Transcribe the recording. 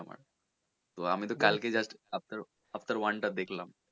তো আমি তো কালকে just Avatar Avatar one টা দেখলাম।`